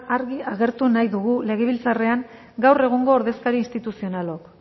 argi agertu nahi dugu legebiltzarrean gaur egungo ordezkari instituzionalok